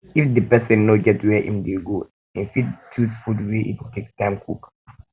if di person no get where im dey go im fit choose food wey im take time cook